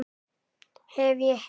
Hef ég heyrt.